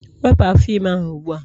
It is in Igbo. wepụ afọ ime ahụ ugbu a!